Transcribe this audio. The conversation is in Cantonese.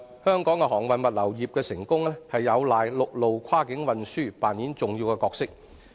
香港航運物流業得以成功，陸路跨境運輸扮演重要角色。